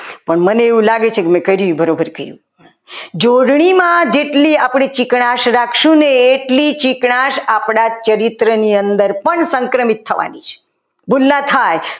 પણ મને એવું લાગે છે કે મેં કર્યું એ બરાબર કર્યું જોડણીમાં જેટલી આપણી ચીકાશ રાખશું ને એટલી ચીકાશ આપણા ચરિત્ર ની અંદર પણ સંક્રમિત થવાની છે ભૂલ ના થાય.